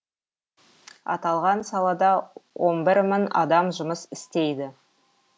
аталған салада он бір мың адам жұмыс істейді